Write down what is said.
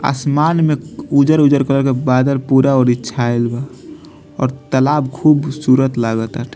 आसमान में उज्जर-उज्जर कलर के बादल पूरा ओरी छाएल बा और तालाब खूबसूरत लाग ताटे।